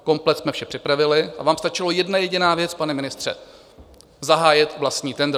Komplet jsme vše připravili a vám stačila jedna jediná věc, pane ministře, zahájit vlastní tendr.